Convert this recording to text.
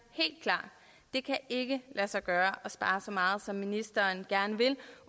det kan ikke lade sig gøre at spare så meget som ministeren gerne vil